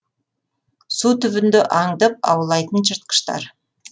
су түбінде аңдып аулайтын жыртқыштар